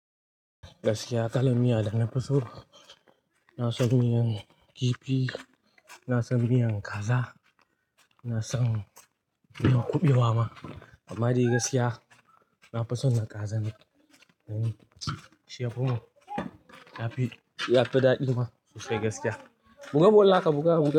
Gaskiya, kala miya da na fi so. Ina san miyan kifi, ina san miyan kaza, ina san miyan kuɓewa ma. Amma dai gaskiya, na fi son na kaza ne. Shi yafi mun yafi, daɗi ma sosai gaskiya. Mun ga bolla ka buga mu.